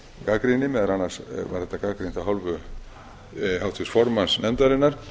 gagnrýni meðal annars var þetta gagnrýnt af hálfu háttvirts formanns nefndarinnar